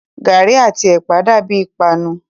Gàrí àti ẹ̀pà dàbíi ìpanu.